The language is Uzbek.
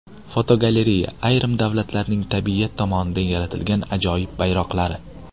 Fotogalereya: Ayrim davlatlarning tabiat tomonidan yaratilgan ajoyib bayroqlari.